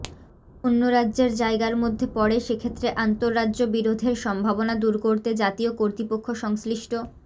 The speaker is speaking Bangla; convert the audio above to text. অন্য রাজ্যের জায়গার মধ্যে পড়ে সেক্ষেত্রে আন্তঃরাজ্য বিরোধের সম্ভাবনা দুর করতে জাতীয় কর্তৃপক্ষ সংশ্লিষ্ট